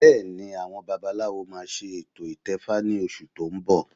Bẹ́ẹ̀ni àwọn babaláwo máa ṣe ètò ìtẹfa ní oṣù tó ń bọ̀